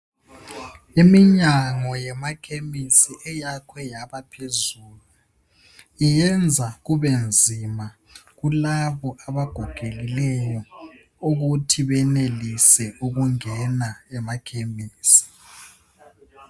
Iminyango yemakhemisi eyakhwe yabaphezulu. Iyenza kube nzima kulabo abagogokileyo ukuthi benelise ukungena akhemisi.